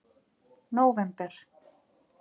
nóvember